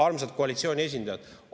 Armsad koalitsiooni esindajad!